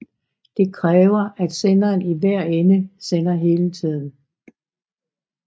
Det kræver at senderen i hver ende sender hele tiden